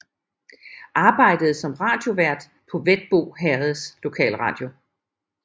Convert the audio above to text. Arbejdede som radiovært på Hvetbo Herreds lokalradio